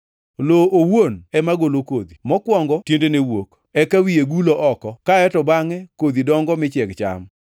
Lowo owuon ema golo kodhi; mokwongo tiendene wuok, eka wiye gulo oko kaeto bangʼe kodhi dongo mi chieg cham.